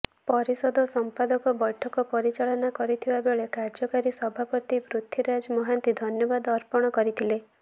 ପରିଷଦର ସମ୍ପାଦକ ବୈଠକ ପରିଚାଳନା କରିଥିବାବେଳେକାର୍ଯ୍ୟକାରୀ ସଭାପତି ପୃଥ୍ୱୀରାଜ ମହାନ୍ତି ଧନ୍ୟବାଦ ଅର୍ପଣକରିଥିଲେ